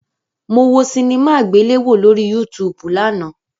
Mo wo sinimá àgbéléwò lórí Yúutùùbù lánàá